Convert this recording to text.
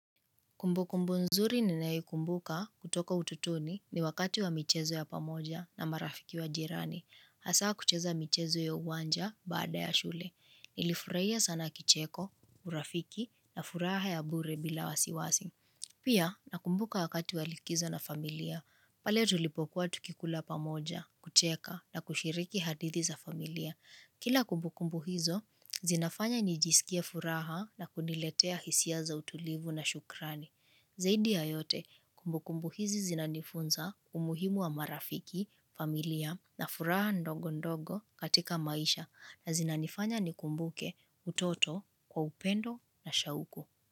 Kumbu kumbu nzuri ninayo kumbuka kutoka utotoni ni wakati wa michezo ya pamoja na marafiki wa jirani. Hasaa kucheza michezo ya uwanja baada ya shule. Nilifurahia sana kicheko, urafiki na furaha ya bure bila wasiwasi. Pia nakumbuka wakati wa likizo na familia. Pale tulipokuwa tukikula pamoja, kucheka na kushiriki hadithi za familia. Kila kumbu kumbu hizo, zinafanya nijisikie furaha na kuniletea hisia za utulivu na shukrani. Zaidi ya yote kumbukumbu hizi zinanifunza, umuhimu wa marafiki, familia na furaha ndogo ndogo katika maisha na zinanifanya nikumbuke utoto kwa upendo na shauku.